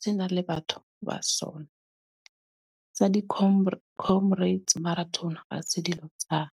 se na le batho ba sona. Sa di Comrade, Comrades Marathon hase dilo tsa ka.